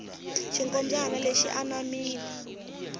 xinkombyani lexi xi anamile